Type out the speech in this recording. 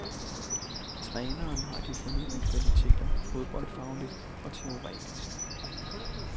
Træneren har de fornødne kvaliteter fodboldfagligt og teoretisk.